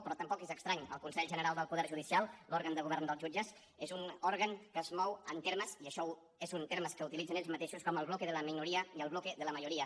però tampoc és estrany el consell general del poder judicial l’òrgan de govern dels jutges és un òrgan que es mou en termes i això són termes que utilitzen ells mateixos com el bloque de la minoría i el bloque de la mayoría